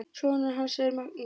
Sonur hans er Magnús.